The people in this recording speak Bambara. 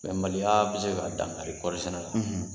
Bɛnbaliya bɛ se ka dankari kɔɔri sɛnɛ la,